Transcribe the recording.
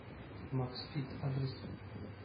максфит адрес